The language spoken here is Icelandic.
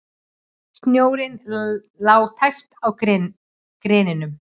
Snjórinn lá tæpt á greinunum.